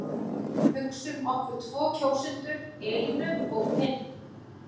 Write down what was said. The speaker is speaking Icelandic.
Hugsum okkur tvo kjósendur Elínu og Finn.